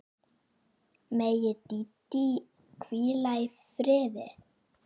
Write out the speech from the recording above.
Megi Dídí hvíla í friði.